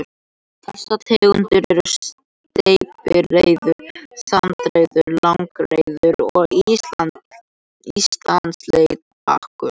Þessar tegundir eru steypireyður, sandreyður, langreyður og Íslandssléttbakur.